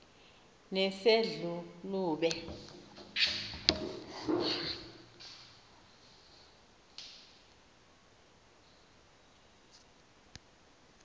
nesedlulube